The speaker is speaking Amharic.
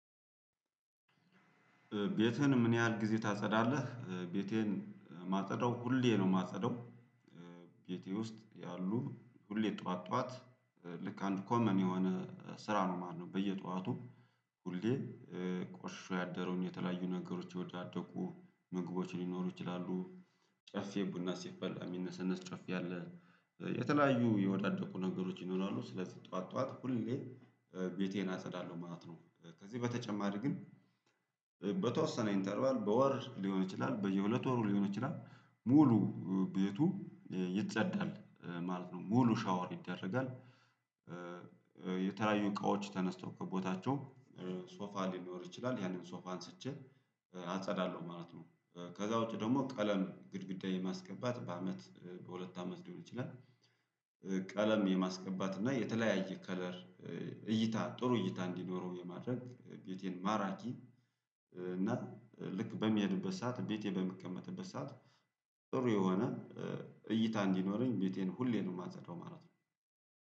ቤትህን ምን ያህል ጊዜ ታጸዳለህ? ቤቴን ማጸዳው ሁሌ ነው ማጸዳው ቤቴ ውስጥ ያሉ ሁሌ ጠዋት ጠዋት ልክ አንድ ኮመን የሆነ ስራ ነው ማለት ነው። በየጧቱ ሁሌ ቆሽሾ ያደረውን የተለያዩ ነገሮች ወደ የወዳደጉ ምግቦች ሊኖሩ ይችላሉ ጨፌ ቡና ሲፈላ የሚነሰነስ ጨፌ ያለ የተለያዩ የወዳደቁ ነገሮች ይኖራሉ ስለዚህ ጠዋት ጠዋት ሁሌ ቤቴን አጸዳለሁ ማለት ነው። ከዚህ በተጨማሪ ግን በተወሰነ ኢንተርባል በወር ሊሆን ይችላል በየሁለት ወሩ ሊሆን ይችላል ሙሉ ቤቱ ይጸዳል ማለት ነው ሙሉ ሻወር ይደረጋል። የተለያዩ እቃዎች ተነስተው ከቦታቸው ሶፋ ሊኖር ይችላል ያንን ሶፋን አንስቼ አጸዳለሁ ማለት ነው። ከዛ ውጪ ደግሞ ቀለም ግድግዳ የማስገባት በአመት በሁለት አመት ሊሆን ይችላል። ቀለም የማስገባት እና የተለያየ ከለር እይታ ጥሩ እይታ እንዲኖረው የማድረግ ቤቴን ማራኪ እና ልክ በሚሄድበት ሰዓት ቤቴ በሚቀመጥበት ሰዓት ጥሩ የሆነ እይታ እንዲኖረኝ ቤቴን ሁሌም የማጸዳው ማለት ነው።